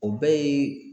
O bɛɛ ye